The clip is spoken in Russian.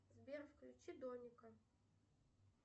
сбер включи домика